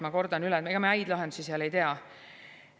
Ma kordan, et ega me häid lahendusi seal ei tea.